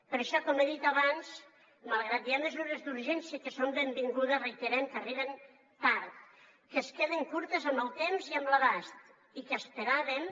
per això com he dit abans malgrat que hi ha mesures d’urgència que són benvingudes reiterem que arriben tard que queden curtes en el temps i en l’abast i que esperàvem